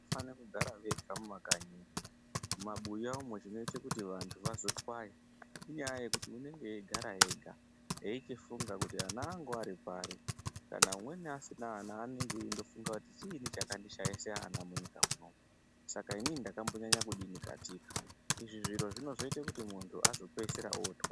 Fane kugara vega mumakanyi mumabuya umwo chinoite kuti vantu vazotwaya inyaya yekuti unenge eigara ega eichifunga kuti ana angu ari pari kana umweni asina ana unenge eindofunga kuti chiini chakandishaise ana munyika munomu saka ini mdakambonyanya kudini katika izvi Zviro zvinozoita kuti muntu azopeisira otwaya.